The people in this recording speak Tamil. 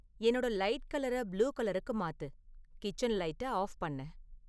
என்னோட லைட் கலர புளூ கலருக்கு மாத்து கிச்சன் லைட்ட ஆஃப் பண்ணு